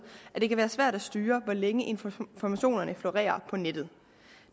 at det kan være svært at styre hvor længe informationerne florerer på nettet